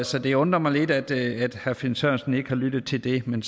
så det undrer mig lidt at herre finn sørensen ikke har lyttet til det men